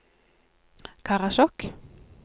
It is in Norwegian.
Karasjok